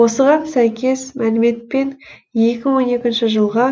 осыған сәйкес мәліметпен екі мың он екінші жылға